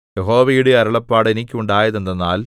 യഹോവയുടെ അരുളപ്പാട് എനിക്കുണ്ടായതെന്തെന്നാൽ